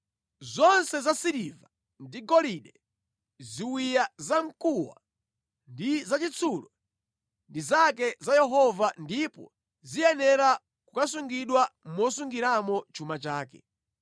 Zonse za siliva ndi golide, ziwiya zamkuwa ndi zachitsulo, ndi zake za Yehova ndipo ziyenera kukasungidwa mosungiramo chuma chake.”